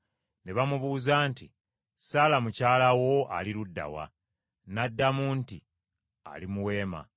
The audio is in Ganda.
Ne bamubuuza nti, “Saala mukyala wo ali ludda wa?” N’addamu nti, “Ali mu weema.”